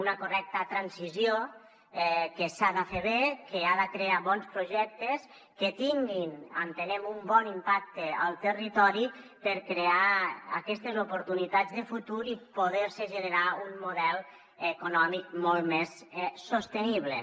una correcta transició que s’ha de fer bé que ha de crear bons projectes que tinguin entenem un bon impacte al territori per crear aquestes oportunitats de futur i poder se generar un model econòmic molt més sostenible